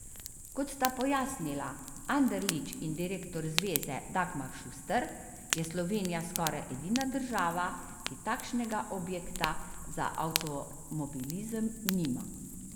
Kot sta pojasnila Anderlič in direktor zveze Dagmar Šuster, je Slovenija skoraj edina država, ki takšnega objekta za avtomobilizem nima.